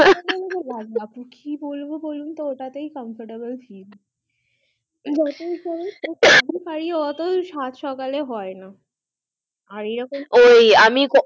কি বলবো বলবো এটা তে comfortable fill যত করি sacrifice হওয়া তে সাত সকালে হয় না এই রকম ওই আমি